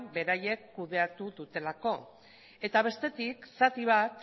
beraiek kudeatu dutelako eta bestetik zati bat